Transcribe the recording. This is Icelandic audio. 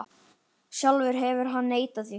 Sjálfur hefur hann neitað því.